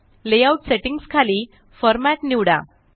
layout settingsखाली format निवडा